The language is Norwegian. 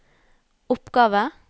oppgave